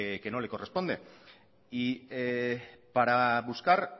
que no le corresponde y para buscar